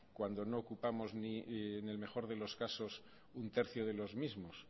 cuando no ocupamos en el mejor de los casos un tercio de los mismos